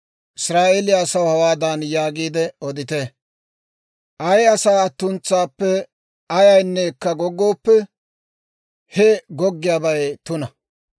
«Israa'eeliyaa asaw hawaadan yaagiide odite; ‹Ay asaa attuntsaappe ayayneekka goggooppe, he goggiyaabay tuna.